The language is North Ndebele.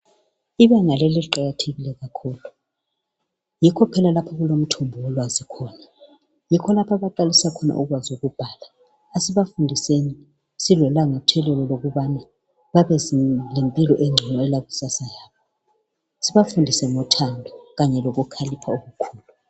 Ibanga leli liqakathekile kakhulu. Yikho phela lapha okulomthombo wolwazi khona. Yikho lapha abaqalisa khona ukwazi ukubhala. Asibafundiseni sibe lelangathelelo lokubana babelempilo engcono yekusasa yabo. sibafundise ngothando kanye lokukhalipha okukhulu.